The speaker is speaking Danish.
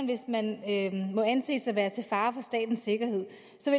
hvis man må anses for at være til fare for statens sikkerhed